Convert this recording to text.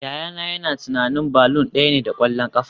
Yayana yana tunanin balloon daya ne da kwallon kafa